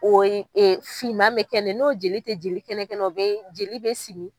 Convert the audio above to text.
O ye e finma mɛ kɛ ni ye n'o jeli tɛ jeli kɛnɛkɛnɛ ye o bɛ jeli bɛ simi.